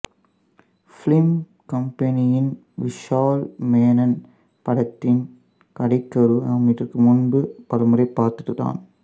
film கம்பேனியனின் விஷால் மேனன் படத்தின் கதைக்கரு நாம் இதற்கு முன்பு பலமுறை பார்த்ததுதான்